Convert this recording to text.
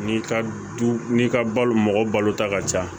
N'i ka du n'i ka balo mɔgɔ balota ka ca